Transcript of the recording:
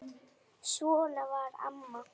Svona var amma.